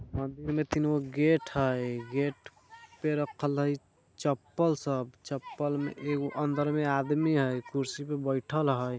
मंदिर में तिनगो गेट हई गेट पे रखल हई चप्पल सब चप्पलमें एगो अन्दर में आदमी हई कुर्सी पे बैठल हई।